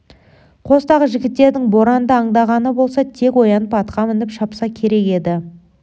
қостағы жігіттердің боранды аңдағаны болса тек оянып атқа мініп шапса керек еді